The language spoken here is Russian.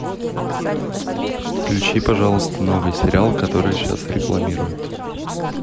включи пожалуйста новый сериал который сейчас рекламируют